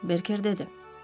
Berker dedi.